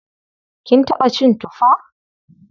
Kin taɓa cin tufa?